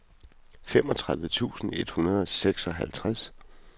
femogtredive tusind et hundrede og seksoghalvtreds